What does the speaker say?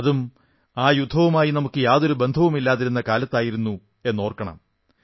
അതും ആ യുദ്ധവുമായി നമുക്ക് യാതൊരു ബന്ധവുമില്ലാതിരുന്ന കാലത്തായിരുന്നുവെന്നോർക്കണം